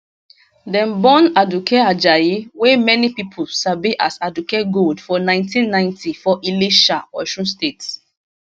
dem born aduke ajayi wey many pipo sabi as aduke gold for 1990 for ilesha osun state